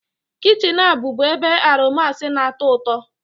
Kichin a bụbu ebe aromas na-atọ ụtọ